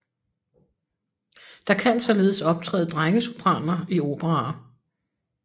Der kan således optræde drengesopraner i operaer